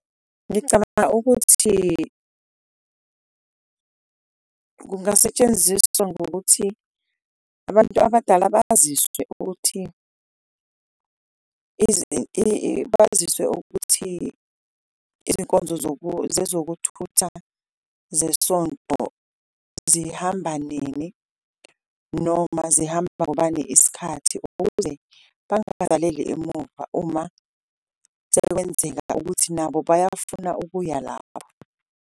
Ngicabanga ukuthi kungasetshenziswa ngokuthi abantu abadala baziswe ukuthi baziswe ukuthi izinkonzo zezokuthutha zesonto zihamba nini, noma zihamba ngobani iskhathi. Ukuze bangabavaleli emumva uma sekwenzeka ukuthi nabo bayafuna ukuya lapho.